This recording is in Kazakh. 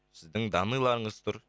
сіздің данныйларыңыз тұр